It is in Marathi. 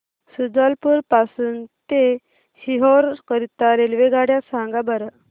शुजालपुर पासून ते सीहोर करीता रेल्वेगाड्या सांगा बरं